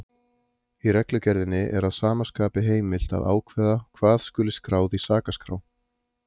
Í reglugerðinni er að sama skapi heimilt að ákveða hvað skuli skráð í sakaskrá.